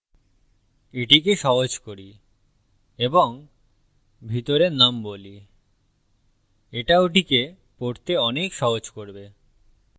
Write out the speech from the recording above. এটিকে সহজ করি এবং ভিতরে num বলিএটা ওটিকে পড়তে অনেক সহজ করবে